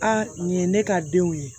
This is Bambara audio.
nin ye ne ka denw ye